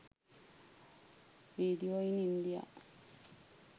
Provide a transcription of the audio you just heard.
video in india